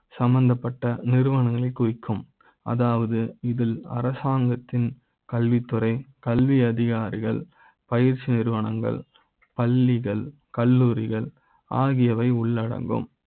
சம்பந்தப்பட்ட நிறுவனங்களை குறி க்கும் அதாவது இதில் அரசாங்க த்தின் கல்வித்துறை கல்வி அதிகாரிகள் பயிற்சி நிறுவனங்கள் பள்ளிகள் கல்லூரிகள் ஆகியவை உள்ளடங்கும்